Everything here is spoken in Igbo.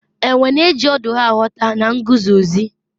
enwe na-eji ọdụ ha aghọta na nguzozi